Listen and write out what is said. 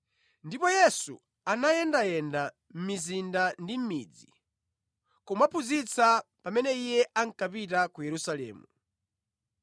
Ndipo Yesu anayendayenda mʼmizinda ndi mʼmidzi, kumaphunzitsa pamene Iye ankapita ku Yerusalemu.